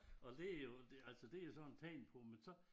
Og det jo det altså det har jeg sådan tænkt på men så